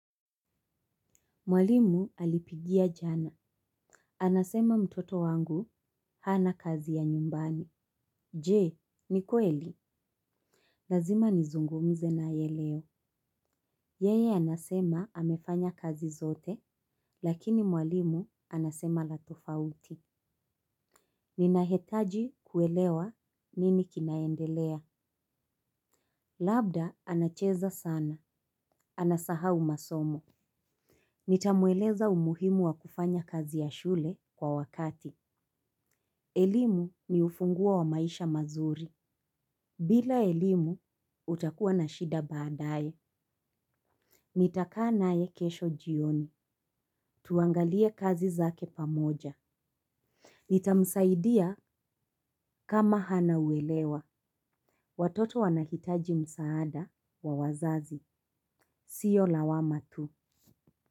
Mwalimu alipigia jana. Anasema mtoto wangu hana kazi ya nyumbani. Je, ni kweli. Lazima nizungumze nae leo. Yeye anasema amefanya kazi zote, lakini mwalimu anasema la tofauti. Ninahitaji kuelewa nini kinaendelea. Labda anacheza sana. Anasahau masomo. Nitamueleza umuhimu wa kufanya kazi ya shule kwa wakati. Elimu ni ufunguo wa maisha mazuri. Bila elimu, utakuwa na shida baadae. Nitakaa naye kesho jioni. Tuangalie kazi zake pamoja. Nitamsaidia kama hana uelewa. Watoto wanahitaji msaada wa wazazi. Sio lawama tu.